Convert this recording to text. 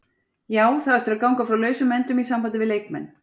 Já, það á eftir að ganga frá lausum endum í sambandi við leikmenn.